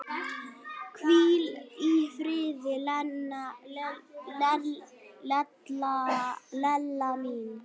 Hvíl í friði, Lella mín.